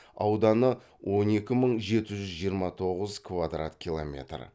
ауданы он екі мың жеті жүз жиырма тоғыз квадрат километр